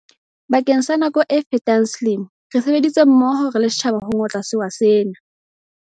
Bakeng sa nako e fetang selemo, re sebeditse mmoho re le setjhaba ho ngotla sewa sena.